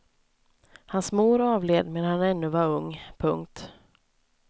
Hans mor avled medan han ännu var ung. punkt